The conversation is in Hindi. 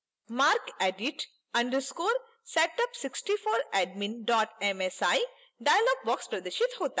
macredit _ setup64admin msi dialog box प्रदर्शित होता है